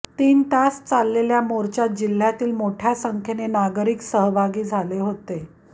तीन तास चाललेल्या मोर्चात जिल्ह्यातील मोठ्या संख्येने नागरिक सहभागी झाले होते